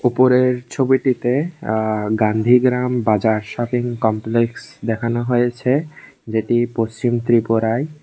ওপরের ছবিটিতে আ গান্ধিগ্রাম বাজার শপিং কমপ্লেক্স দেখানো হয়েছে যেটি পশ্চিম ত্রিপুরায়।